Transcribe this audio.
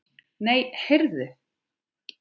Nei, heyrðu.